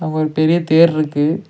அ ஒரு பெரிய தேர் இருக்கு.